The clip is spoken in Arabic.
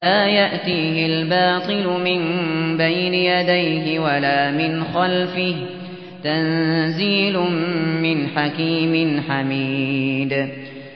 لَّا يَأْتِيهِ الْبَاطِلُ مِن بَيْنِ يَدَيْهِ وَلَا مِنْ خَلْفِهِ ۖ تَنزِيلٌ مِّنْ حَكِيمٍ حَمِيدٍ